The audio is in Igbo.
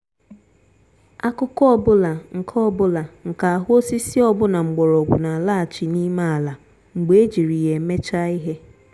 akụkụ ọ bụla nke ọ bụla nke ahụ osisi ọbụna mgbọrọgwụ n'alaghachi n'ime ala mgbe ejiri ya emechaa ihe.